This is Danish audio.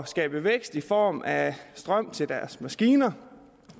skabe vækst i form af strøm til deres maskiner